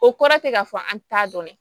O kɔrɔ tɛ k'a fɔ an t'a dɔn dɛ